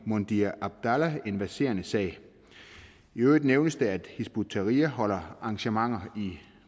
mundhir abdallah en verserende sag i øvrigt nævnes det at hizb ut tahrir holder arrangementer